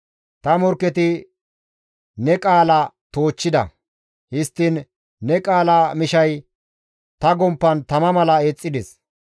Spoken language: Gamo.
Ta morkketi ne qaala toochchida; histtiin ne qaala mishay ta gomppan tama mala eexxides.